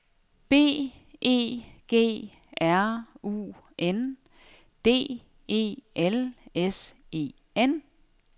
B E G R U N D E L S E N